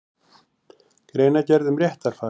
Greinargerð um réttarfar.